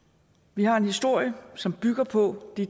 vi har en historie som bygger på det